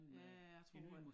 Ja jeg tror at